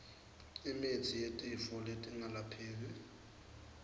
imitsi yetifo letingelapheki